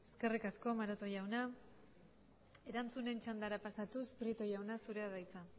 eskerrik asko maroto jauna erantzunen txandara pasatuz prieto jauna zurea da hitza